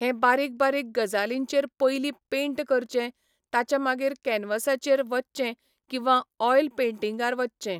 हे बारीक बारीक गजालींचर पयलीं पेंट करचें ताच्या मागीर कॅन्वसाचेर वचचें किंवा ऑयल पैंटिंगार वचचें.